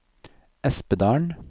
Espedalen